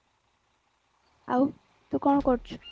ଆଉ ତୁ କଣ କରୁଛୁ